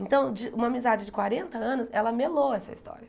Então, de uma amizade de quarenta anos, ela melou essa história.